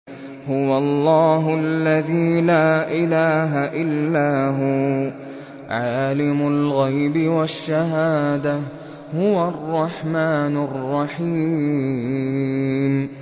هُوَ اللَّهُ الَّذِي لَا إِلَٰهَ إِلَّا هُوَ ۖ عَالِمُ الْغَيْبِ وَالشَّهَادَةِ ۖ هُوَ الرَّحْمَٰنُ الرَّحِيمُ